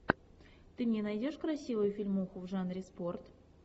ты мне найдешь красивую фильмуху в жанре спорт